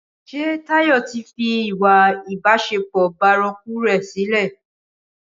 Ṣé Táyọ̀ tí fi ìwà ìbásẹpọ̀ bárakú rè sile